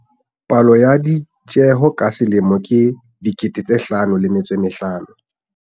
Palohare ya ditjeho ka selemo ke R55 000.